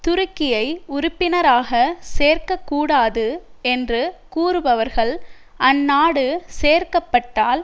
துருக்கியை உறுப்பினராக சேர்க்கக்கூடாது என்று கூறுபவர்கள் அந்நாடு சேர்க்கப்பட்டால்